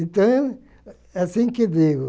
Então, é assim que digo.